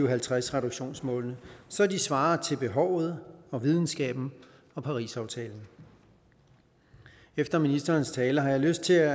og halvtreds reduktionsmålene så de svarer til behovet videnskaben og parisaftalen efter ministerens tale har jeg lyst til at